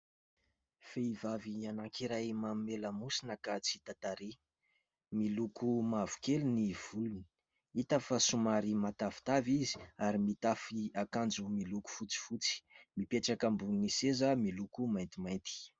Vehivavy anankiray manome lamosina ka tsy hita tarehy. Miloko mavokely ny volony, hita fa somary matavitavy izy, ary mitafy akanjo miloko fotsifotsy. Mipetraka ambonin'ny seza miloko maintimainty.